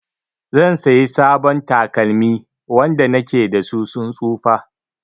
Zan sayi sabon takalmi, wanda na ke da su sun tsufa.